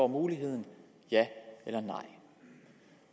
muligheden ja eller nej